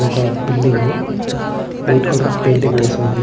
ఇది ఒక building . White colour painting వేసి ఉంది.